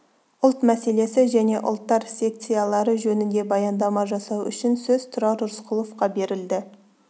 ұлт мәселесі және ұлттар секциялары жөнінде баяндама жасау үшін сөз тұрар рысқұловқа берілді